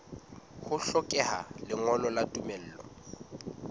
ho hlokeha lengolo la tumello